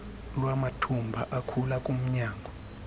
lwamathumba akhula kumnyango